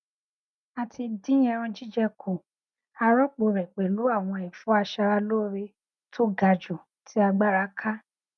a ti dín ẹran jíjẹ kù a rọpò rẹ pẹlú àwọn ẹfọ aṣaralóore tó ga jù tí agbára ká